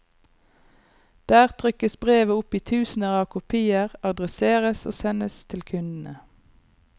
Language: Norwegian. Der trykkes brevet opp i tusener av kopier, adresseres og sendes til kundene.